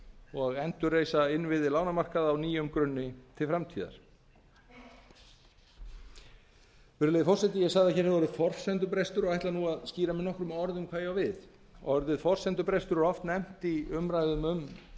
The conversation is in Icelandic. og endurreisa innviði lánamarkaða á nýjum grunni til framtíðar virðulegi forseti ég sagði að hér hefði orðið forsendubrestur og ætla nú að skýra með nokkrum orðum hvað ég á við orðið forsendubrestur er oft nefnt í umræðum um